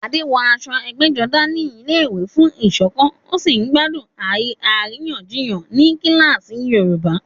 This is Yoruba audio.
Adé wọ aṣọ ẹgbẹ́jọdá ní ilé-ìwé fún ìṣọ̀kan, ó sì ń gbádùn àríyànjiyàn ní kíláàsì Yorùbá.